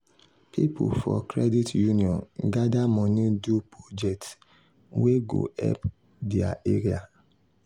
people for credit union gather money do project wey go help their area.